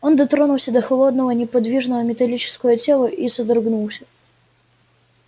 он дотронулся до холодного неподвижного металлического тела и содрогнулся